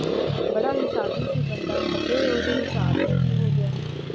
ਬੜਾ ਹਿਸਾਬੀ ਸੀ ਬੰਦਾ ਖਬਰੇ ਓਦੇ ਹਿਸਾਬ ਨੂੰ ਕੀ ਹੋ ਗਿਆ